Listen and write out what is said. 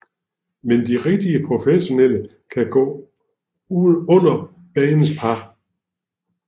Men de rigtigt professionelle kan gå under banens par